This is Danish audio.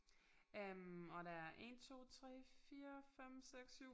Øh og der er 1 2 3 4 5 6 7